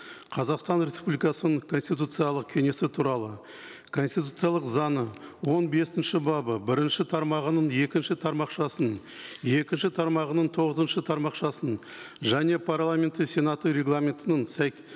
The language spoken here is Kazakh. қазақстан республикасының конституциялық кеңесі туралы конституциялық заңы он бесінші бабы бірінші тармағының екінші тармақшасын екінші тармағының тоғызыншы тармақшасын және парламенттің сенаты регламентінің